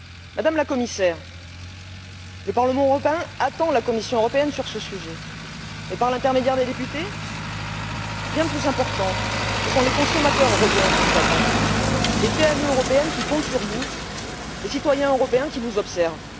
Madame la Commissaire, le Parlement européen attend la Commission européenne sur ce sujet mais, par l'intermédiaire des députés, bien plus important, ce sont les consommateurs européens qui vous attendent, les PME européennes qui comptent sur vous, les citoyens européens qui vous observent.